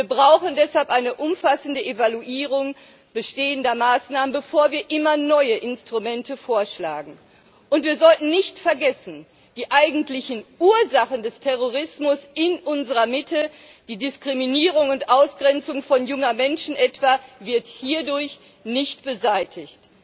Wir brauchen deshalb eine umfassende Evaluierung bestehender Maßnahmen, bevor wir immer neue Instrumente vorschlagen, und wir sollten nicht vergessen, die eigentlichen Ursachen des Terrorismus in unserer Mitte etwa die Diskriminierung und Ausgrenzung junger Menschen werden hierdurch nicht beseitigt.